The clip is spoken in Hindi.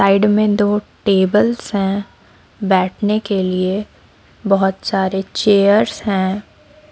साइड मे दो टेबल्स है बैठने के लिए बहोत सारे चेयर्स है।